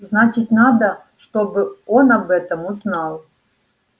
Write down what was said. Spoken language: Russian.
значит надо чтобы он об этом узнал